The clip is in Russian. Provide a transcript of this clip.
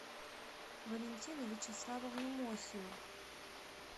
валентину вячеславовну мосину